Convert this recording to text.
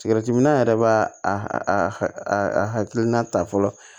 minan yɛrɛ b'a a hakilina ta fɔlɔ